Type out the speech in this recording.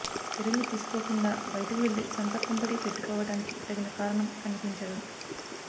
చర్యలు తీసుకోకుండా బయటకు వెళ్లి సొంత కుంపటి పెట్టుకోవడానికి తగిన కారణం కనిపించదు